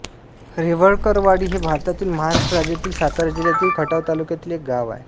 रेवळकरवाडी हे भारतातील महाराष्ट्र राज्यातील सातारा जिल्ह्यातील खटाव तालुक्यातील एक गाव आहे